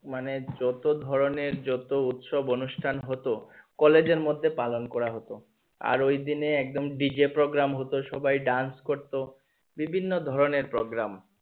মানে যত ধরণের যত উৎসব অনুষ্ঠান হতো কলেজের মধ্যে পালন করা হতো আর ঐদিনে একদম dj program হতো সবার dance করতো বিভিন্ন ধরণের programe